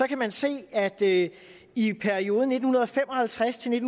kan man se at der i i perioden nitten fem og halvtreds til